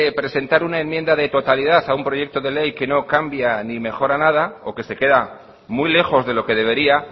presentar una enmienda de totalidad a un proyecto de ley que no cambia ni mejora nada o que se queda muy lejos de lo que debería